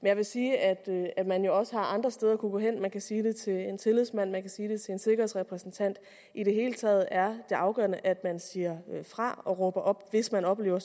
jeg vil sige at man jo også har andre steder at kunne gå hen man kan sige det til en tillidsmand man kan sige det til en sikkerhedsrepræsentant i det hele taget er det afgørende at man siger fra og råber op hvis man oplever at